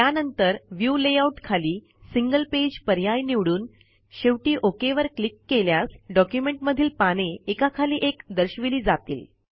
त्यानंतर view layout खाली single page पर्याय निवडून शेवटी ओक वर क्लिक केल्यास डॉक्युमेंटमधील पाने एकाखाली एक दर्शविली जातील